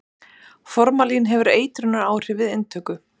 Formalín hefur eitrunaráhrif við inntöku.